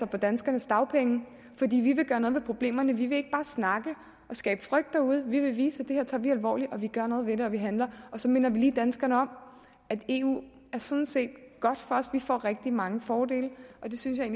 på danskernes dagpenge fordi vi vil gøre noget ved problemerne vi vil ikke bare snakke og skabe frygt derude vi vil vise at det her tager vi alvorligt at vi gør noget ved det og at vi handler og så minder vi lige danskerne om at eu sådan set er godt for os vi får rigtig mange fordele det synes jeg